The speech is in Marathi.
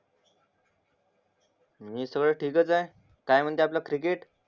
मी सगळं ठीक आहे काय म्हणते आपल क्रिकेट